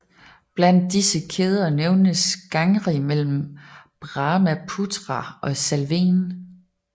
Blandt disse kæder kan nævnes Gangri mellem Brahmaputra og Salwen